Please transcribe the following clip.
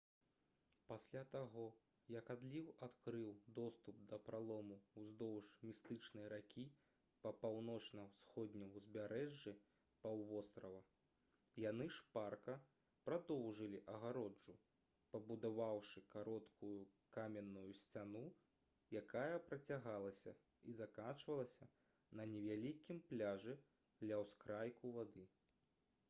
пасля таго як адліў адкрыў доступ да пралому ўздоўж містычнай ракі па паўночна-ўсходнім узбярэжжы паўвострава яны шпарка прадоўжылі агароджу пабудаваўшы кароткую каменную сцяну якая працягалася і заканчвалася на невялікім пляжы ля ўскрайку вады